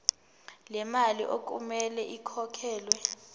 lemali okumele ikhokhelwe